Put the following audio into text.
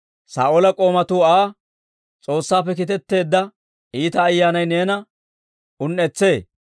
Saa'oola k'oomatuu Aa, «S'oossaappe kiitetteedda iita ayyaanay neena un"etsee.